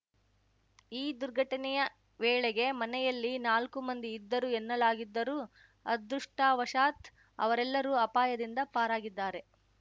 ಈ ದುರ್ಘಟನೆಯ ವೇಳೆಗೆ ಮನೆಯಲ್ಲಿ ನಾಲ್ಕು ಮಂದಿ ಇದ್ದರು ಎನ್ನಲಾಗಿದ್ದರೂ ಅದೃಷ್ಠವಶಾತ್ ಅವರೆಲ್ಲರೂ ಅಪಾಯದಿಂದ ಪಾರಾಗಿದ್ದಾರೆ